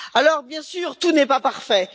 Alors bien sûr, tout n'est pas parfait.